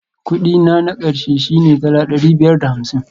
Kudi na na ƙarshe shine dala ɗari biyar da hamsin